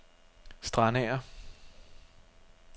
Strandager